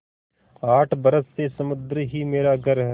आठ बरस से समुद्र ही मेरा घर है